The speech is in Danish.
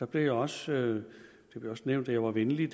blev det også nævnt at jeg var venlig